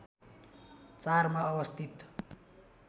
४ मा अवस्थित